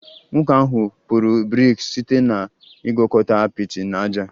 Nwoke ahụ kpụrụ brik site na ịgwakọta apịtị na ájá